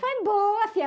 Foi boa, fia.